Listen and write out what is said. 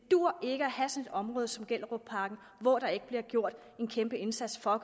område som gellerupparken hvor der ikke bliver gjort en kæmpeindsats for at